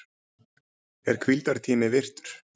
Er hvíldartími virtur?